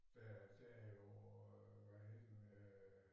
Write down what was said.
Der der er jo øh hvad hedder den øh